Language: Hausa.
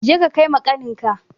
Je ka kai ma ƙaninka!